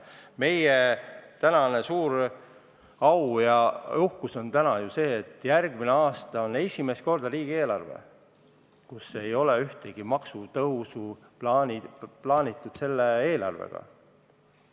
Me oleme uhked, et järgmine aasta on esimest korda riigieelarve, millesse ei ole plaanitud ühtegi maksutõusu.